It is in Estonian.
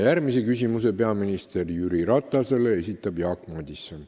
Järgmise küsimuse peaminister Jüri Ratasele esitab Jaak Madison.